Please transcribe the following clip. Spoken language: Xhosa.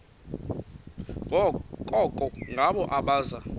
koko ngabo abaza